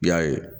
I y'a ye